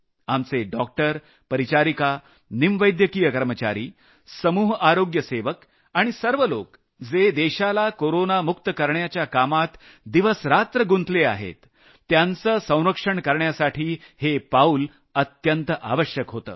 आपले डॉक्टर परिचारिका निमवैद्यकीय कर्मचारी समूह आरोग्य सेवक आणि असे सर्व लोक जे देशाला कोरोना मुक्त करण्याच्या कामात दिवसरात्र गुंतले आहेत त्यांचं संरक्षण करण्यासाठी हे पाऊल अत्यंत आवश्यक होतं